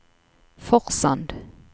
Forsand